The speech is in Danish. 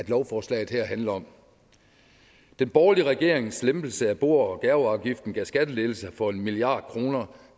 lovforslaget her handler om den borgerlige regerings lempelse af bo og gaveafgiften gav skattelettelser for en milliard kroner